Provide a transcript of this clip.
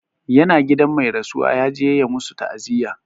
Ya na gidan mai rasuwa, ya je ya masu ta'aziyya.